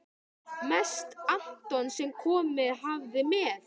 Mest Anton sem komið hafði með